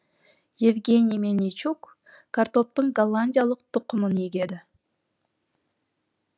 евгений мельничук картоптың голландиялық тұқымын егеді